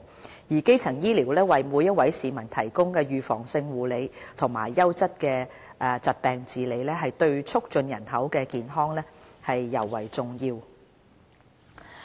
由於基層醫療為每一位市民提供預防性護理和優質的疾病治理，對促進人口健康尤為重要。